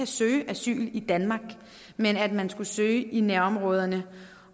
søge asyl i danmark men at man skal søge i nærområderne